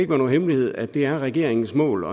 være nogen hemmelighed at det er regeringens mål